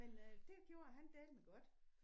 Men øh det gjorde han dælme godt